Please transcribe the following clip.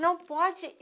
Não pode.